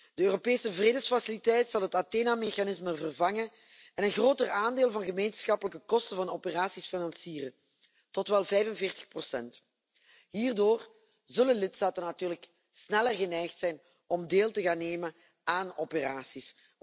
De Europese vredesfaciliteit zal het Athena mechanisme vervangen en een groter aandeel van gemeenschappelijke kosten van operaties financieren, tot wel 45 Hierdoor zullen lidstaten natuurlijk sneller geneigd zijn om deel te gaan nemen aan operaties.